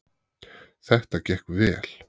Þetta gekk vel